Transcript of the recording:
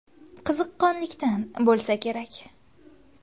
Qiziqqonlikdan bo‘lsa kerak.